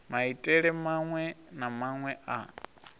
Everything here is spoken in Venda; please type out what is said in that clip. maitele maṅwe na maṅwe a